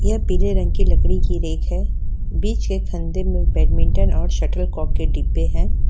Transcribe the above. यह पीले रंग की लकड़ी की रैक है बीच के फंदे में बैडमिंटन और शटलकॉक के डिब्बे हैं।